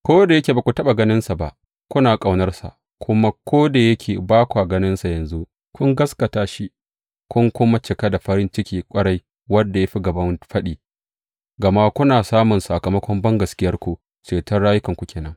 Ko da yake ba ku taɓa ganinsa ba, kuna ƙaunarsa; kuma ko da yake ba kwa ganinsa yanzu, kun gaskata shi, kun kuma cika da farin ciki ƙwarai, wanda ya fi gaban faɗi, gama kuna samun sakamakon bangaskiyarku, ceton rayukanku ke nan.